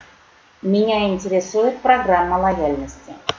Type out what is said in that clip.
меня интересует программа лояльности